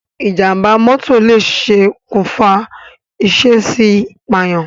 Ìjàm̀bá mọ́tọ̀ lè ṣokùnfà ìṣèèṣì pààyàn.